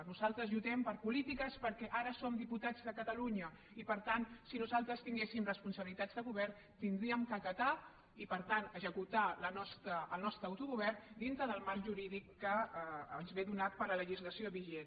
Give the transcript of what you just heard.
nosaltres lluitem per polítiques perquè ara som diputats de catalunya i per tant si nosaltres tinguéssim responsabilitats de govern hauríem d’acatar i per tant executar el nostre autogovern dintre del marc jurídic que ens és donat per la legislació vigent